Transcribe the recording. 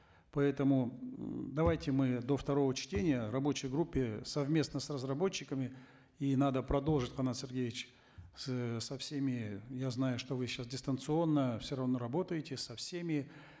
поэтому давайте мы до второго чтения в рабочей группе совместно с разработчиками и надо продолжить канат сергеевич с э со всеми я знаю что вы сейчас дистанционно все равно работаете со всеми